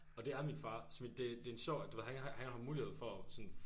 Og det er min far. Så det det en sjov du ved han han har mulighed for sådan